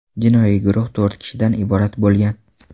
Jinoiy guruh to‘rt kishidan iborat bo‘lgan.